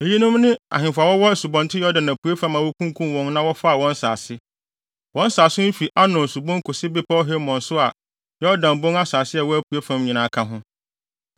Eyinom ne ahemfo a wɔwɔ Asubɔnten Yordan apuei fam a wokunkum wɔn na wɔfaa wɔn nsase. Wɔn nsase no fi Arnon Subon kosi Bepɔw Hermon so a Yordan Bon asase a ɛwɔ apuei fam nyinaa ka ho.